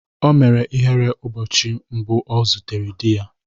O mere ihere ụbọchị mbụ ọ zutere di ya.